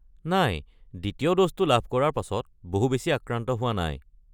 নাই, দ্বিতীয় ড'জটো লাভ কৰাৰ পাছত বহু বেছি আক্ৰান্ত হোৱা নাই।